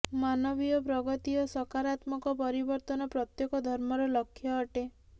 ମାନବୀୟ ପ୍ରଗତି ଓ ସକାରାତ୍ମକ ପରିବର୍ତ୍ତନ ପ୍ରତ୍ୟେକ ଧର୍ମର ଲକ୍ଷ୍ୟ ଅଟେ